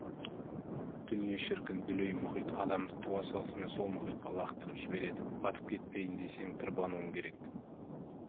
дүние шіркін дүлей мұхит адамды туа салысымен сол мұхитқа лақтырып жібереді батып кетпейін десең тырбануың керек